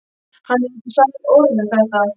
Hann hefur ekki sagt orð um þetta.